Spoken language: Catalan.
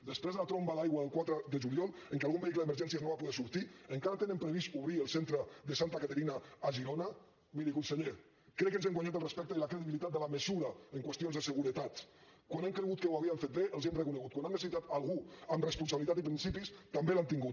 després de la tromba d’aigua del quatre de juliol en què algun vehicle d’emergències no va poder sortir encara tenen previst d’obrir el centre de santa caterina a girona miri conseller crec que ens hem guanyat el respecte i la credibilitat de la mesura en qüestions de seguretat quan hem cregut que ho havien fet bé els hi hem reconegut quan han necessitat algú amb responsabilitat i principis també l’han tingut